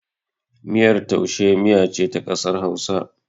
Miyar taushe miya ce ta ƙasar Hausa.